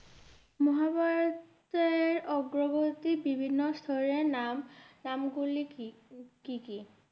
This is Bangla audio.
মহাভারতের অগ্রগতির বিভিন্ন স্তরের নাম নামগুলি কি, কি কি?